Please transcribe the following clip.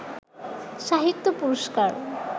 সাহিত্য পুরস্কার